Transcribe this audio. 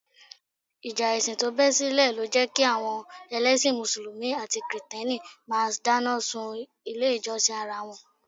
Ìjà ẹ̀sìn tó bẹ́ sílẹ̀ lọ jẹ́ kí àwọn ẹlẹ́sìn Mùsùlùmí àti kìrìtẹ́nì máa dáná sun ilé ìjọsìn ara wọn